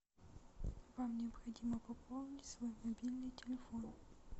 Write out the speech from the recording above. вам необходимо пополнить свой мобильный телефон